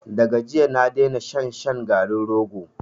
Da ga jiya na daina shan shan garin rogo.